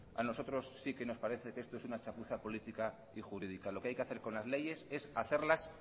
a nosotros si que nos parece que esto es una chapuza política y jurídica lo que hay que hacer con las leyes es hacerlas